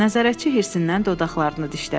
Nəzarətçi hirsindən dodaqlarını dişlədi.